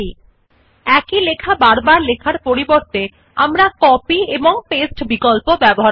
instead of typing the same text all over again we can use the copy and paste option in রাইটের